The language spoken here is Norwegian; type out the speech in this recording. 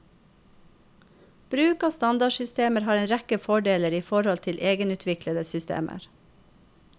Bruk av standardsystemer har en rekke fordeler i forhold til egenutviklede systemer.